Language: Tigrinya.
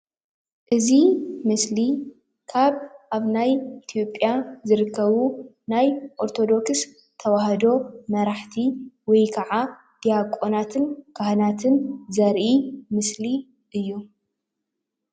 እዚ ምስሊ ካብ ኣብ ናይ ኢትዮጵያ ዝርከቡ ናይ ኦርተዶክስ ተዋህዶ መራሕቲ ወይ ከዓ ዲያቆናትን ካህናትን ዘርኢ ምስሊ እዩ፡፡